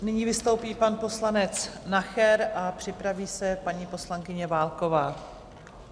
Nyní vystoupí pan poslanec Nacher a připraví se paní poslankyně Válková.